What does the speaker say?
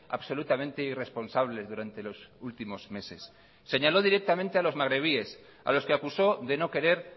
absolutamente irresponsables durante los últimos meses señaló directamente a los magrebíes a los que acusó de no querer